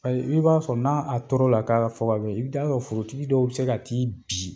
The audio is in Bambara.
I b'a fɔ n'a tɔɔrɔ la'a fɔ bɛ i bɛ taaa sɔrɔ forotigi dɔw bɛ se ka taa bi